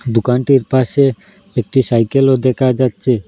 দোকানটির পাশে একটি সাইকেলও দেকা যাচ্ছে।